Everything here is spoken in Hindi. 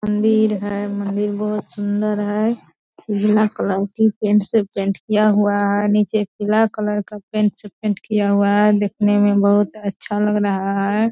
मंदिर है मंदिर बहुत सुन्दर है | उजला कलर की पेंट से पेंट किया हुआ है | नीचें पीला कलर का पेंट से पेंट किया हुआ है | दिखने मे बहुत अच्छा लग रहा है |